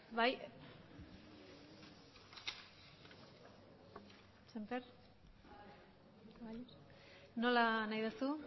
bai nola nahi duzu